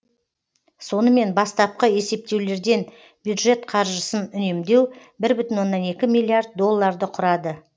сонымен бастапқы есептеулерден бюджет қаржысын үнемдеу бір бүтін оннан екі миллиард долларды құрады